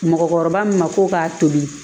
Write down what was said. Mɔgɔkɔrɔba min ma ko k'a tobi